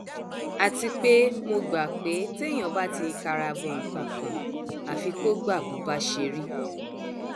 àti pé mo gbà pé téèyàn bá ti kara bọ nǹkan kan àfi kó gbà bó bá ṣe rí